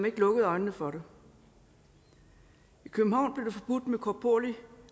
ikke lukket øjnene for det i københavn blev korporlig